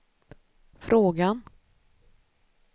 frågan